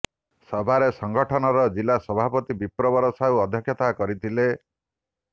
ସଭାରେ ସଙ୍ଗଠନର ଜିଲ୍ଲା ସଭାପତି ବିପ୍ରବର ସାହୁ ଅଧ୍ୟକ୍ଷତା କରିଥିଲେ